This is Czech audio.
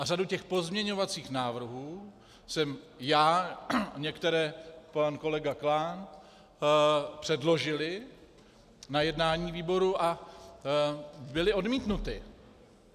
A řadu těch pozměňovacích návrhů jsme já a některé pan kolega Klán předložili na jednání výboru a byly odmítnuty.